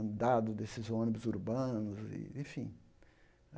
andado desses ônibus urbanos e, enfim.